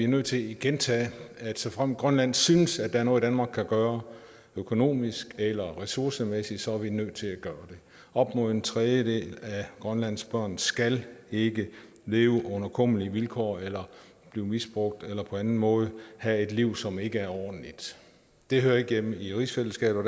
nødt til at gentage at såfremt grønland synes at der er noget danmark kan gøre økonomisk eller ressourcemæssigt så er vi nødt til at gøre det op mod en tredjedel af grønlandske børn skal ikke leve under kummerlige vilkår eller blive misbrugt eller på anden måde have et liv som ikke er ordentligt det hører ikke hjemme i rigsfællesskabet og